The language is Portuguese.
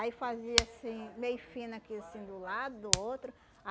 Aí fazia assim, meio fino aqui, assim, do lado do outro.